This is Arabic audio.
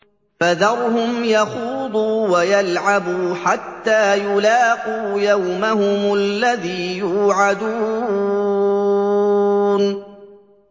فَذَرْهُمْ يَخُوضُوا وَيَلْعَبُوا حَتَّىٰ يُلَاقُوا يَوْمَهُمُ الَّذِي يُوعَدُونَ